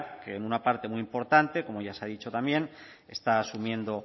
que una parte muy importante como ya se ha dicho también está asumiendo